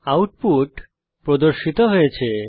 output প্রদর্শিত হয়েছে